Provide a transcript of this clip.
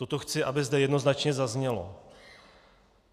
Toto chci, aby zde jednoznačně zaznělo.